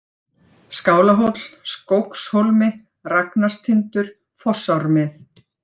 Skálahóll, Skógshólmi, Ragnarstindur, Fossármið